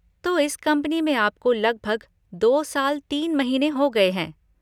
तो इस कंपनी में आपको लगभग दो साल तीन महीने हो गए हैं।